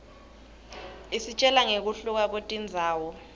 isitjela nqekuhluka kwetindzawo